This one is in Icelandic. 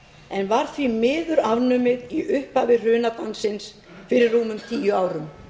en var því miður afnumið í upphafi hrunadansins fyrir rúmum tíu árum